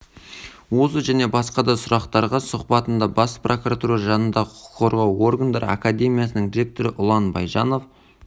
осы және басқа да сұрақтарға сұбатында бас прокуратура жанындағы құқық қорғау органдары академиясының ректоры ұлан байжанов